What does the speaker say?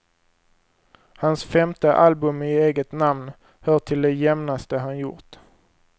Hans femte album i eget namn hör till det jämnaste han gjort.